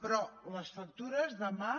però les factures demà